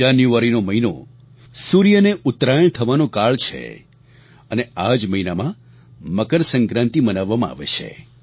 જાન્યુઆરીનો મહિનો સૂર્યને ઉત્તરાયણ થવાનો કાળ છે અને આ જ મહિનામાં મકર સંક્રાંતિ મનાવવામાં આવે છે